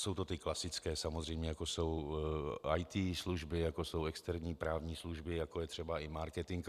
Jsou to ty klasické samozřejmě, jako jsou IT služby, jako jsou externí právní služby, jako je třeba i marketing.